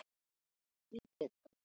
Mamma litla!